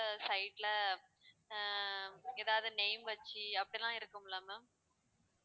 side ல ஆஹ் ஏதாவது name வச்சு அப்படியெல்லாம் இருக்கும்ல ma'am